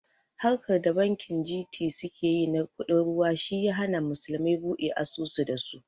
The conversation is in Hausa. Harkar da bankin G.T suke yi na kuɗin ruwa shi ya hana musulmai buɗe asusu da su